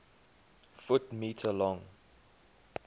ft m long